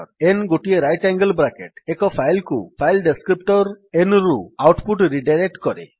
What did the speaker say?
n ଗୋଟିଏ right angle bracket ଏକ file କୁ ଫାଇଲ୍ ଡେସ୍କ୍ରିପ୍ଟର୍ nରୁ ଆଉଟ୍ ପୁଟ୍ ରିଡାଇରେକ୍ଟ୍ କରେ